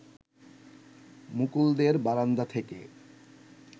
মুকুলদের বারান্দা থেকে